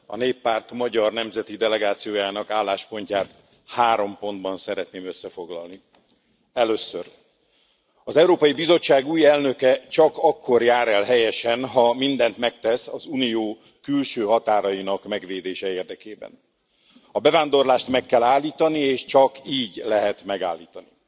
A Néppárt magyar nemzeti delegációjának álláspontját három pontban szeretném összefoglalni. Először az Európai Bizottság új elnöke csak akkor jár el helyesen, ha mindent megtesz az Unió külső határainak megvédése érdekében. A bevándorlást meg kell állítani, és csak így lehet megállítani.